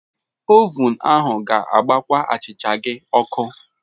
ovun ahụ ga-agbakwa achịcha gị ọkụ.